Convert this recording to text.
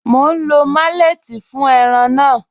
Mọ̀ n lọ malẹ̀tí fún ẹ̀ràn náà.